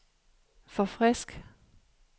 forfrisk